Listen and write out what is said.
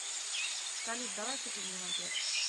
салют давай купим мне мопед